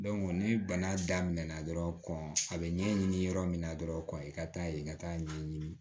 ni bana daminɛ na dɔrɔn kɔn a bɛ ɲɛɲini yɔrɔ min na dɔrɔn kɔni ka taa yen ka t'a ɲɛɲini